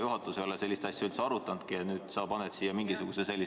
Juhatus ei ole seda üldse arutanudki ja nüüd sa paned selle asja hääletusele.